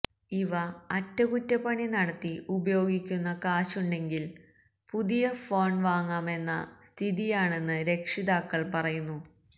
ഇവ അറ്റകുറ്റപ്പണി നടത്തി ഉപയോഗിക്കുന്ന കാശുണ്ടെങ്കില് പുതിയ ഫോണ് വാങ്ങാമെന്ന സ്ഥിയാണെന്ന് രക്ഷിതാക്കള് പറയുന്നു